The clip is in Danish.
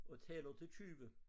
Og tæller til 20